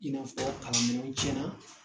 I n'a fɔ kalan minɛnw cɛna